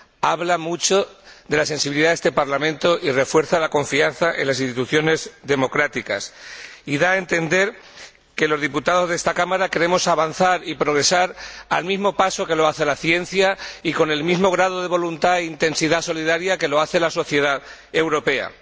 habla mucho de la sensibilidad de este Parlamento, refuerza la confianza en las instituciones democráticas y da a entender que los diputados de esta Cámara queremos avanzar y progresar al mismo paso que lo hace la ciencia y con el mismo grado de voluntad e intensidad solidaria que lo hace la sociedad europea.